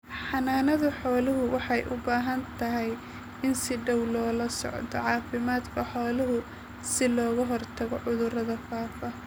Xanaanada xoolaha waxay u baahantahay in si dhow loola socdo caafimaadka xoolaha si looga hortago cudurada faafa.